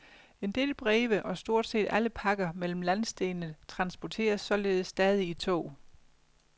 En del breve og stort set alle pakker mellem landsdelene transporteres således stadig i tog.